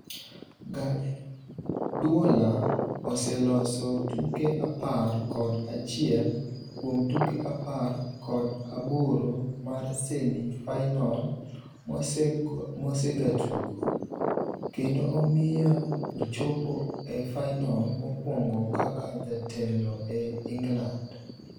Gaduola oseloyo tuke apar kod achiel kuom tuke apar kod aboro mar semi fainol mosegatugo, kendo omiyo ochopo e fainol mokuongo kaka jatelo e England